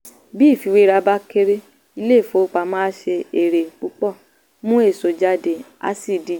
bí ìfiwéra bá kéré ilé-ìfowópamọ́ á ṣe èrè púpọ̀ mú èso jáde á sì díje.